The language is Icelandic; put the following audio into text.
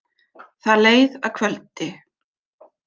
Það leið að kvöldi.